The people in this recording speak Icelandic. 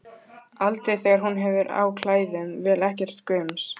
Aldrei þegar hún hefur á klæðum, vill ekkert gums.